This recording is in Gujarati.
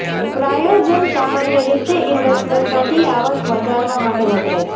પ્રાયોજન સામાન્ય રીતે ઇવેન્ટ્સમાંથી આવક વધારવા માટે વપરાય છે